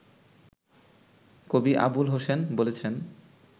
কবি আবুল হোসেন বলেছেন